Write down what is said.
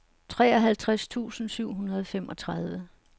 treoghalvtreds tusind syv hundrede og femogtredive